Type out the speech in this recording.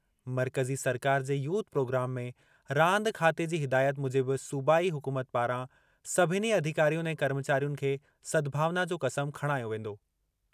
मर्कज़ी सरकार जे यूथ प्रोग्राम में रांदि खाते जी हिदायत मूजिबि सूबाई हुकूमत पारां सभिनी अधिकारियुनि ऐं कर्मचारियुनि खे सद्भावना जो क़सम खणायो वेंदो।